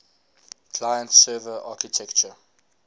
client server architecture